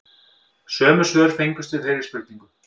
Sömu svör fengust við þeirri spurningu